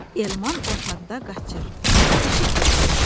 Elman otaqda qaçır, pişklə oynayır.